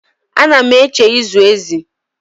Ana m eche ịzụ ezi